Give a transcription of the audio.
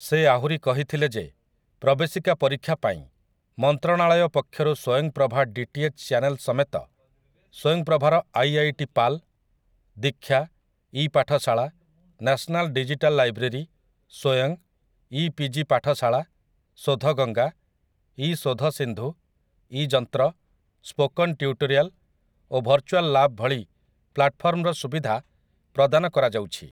ସେ ଆହୁରି କହିଥିଲେ ଯେ ପ୍ରବେଶିକା ପରୀକ୍ଷା ପାଇଁ ମନ୍ତ୍ରଣାଳୟ ପକ୍ଷରୁ ସ୍ୱୟଂପ୍ରଭା ଡିଟିଏଚ୍ ଚାନେଲ୍ ସମେତ, ସ୍ୱୟଂପ୍ରଭାର IIT PAL, Diksha, ePathshala, national digital library, Swayam, e PG Pathshala, Shodhganga, e Shodhsindhu, e Yantra, spoken tutorial ଓ ଭର୍ଚ୍ଚୁଆଲ୍ ଲାବ୍ ଭଳି ପ୍ଲାଟଫର୍ମର ସୁବିଧା ପ୍ରଦାନ କରାଯାଉଛି ।